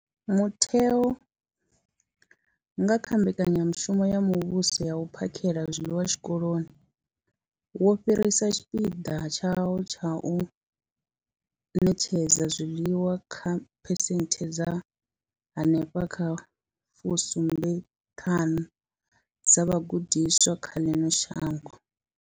Mutheo, nga kha Mbekanyamushumo ya Muvhuso ya U phakhela zwiḽiwa Zwikoloni, wo fhirisa tshipikwa tshawo tsha u ṋetshedza zwiḽiwa kha phesenthe dza henefha kha fusumbe ṱhanu dza vhagudiswa vha ḽino shango.